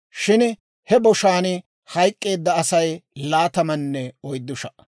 shin he boshaan hayk'k'eedda Asay laatamanne oyddu sha"a.